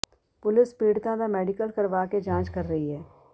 police ਪੀੜਤਾ ਦਾ medical ਕਰਵਾ ਕੇ ਜਾਂਚ ਕਰ ਰਹੀ ਹੈ